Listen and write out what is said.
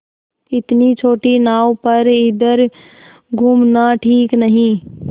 इतनी छोटी नाव पर इधर घूमना ठीक नहीं